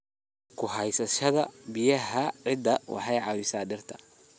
Ku haysashada biyaha ciidda waxay caawisaa dhirta.